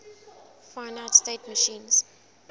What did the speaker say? finite state machines